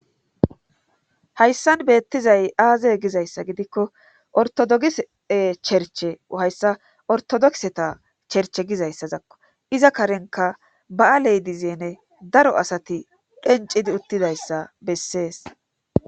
hayssan beettizay aaze gizayssa gidikko ortodogise cherche hayssa ortodokseta cherche gizayssazakko iza karenka ba7aley dizene daro asati dhencidi uttidayssa bessees